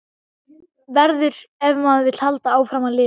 Verður- ef maður vill halda áfram að lifa.